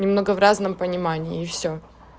немного в разном понимании и всё